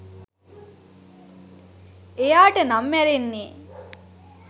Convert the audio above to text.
එයාට නම් මැරෙන්නේ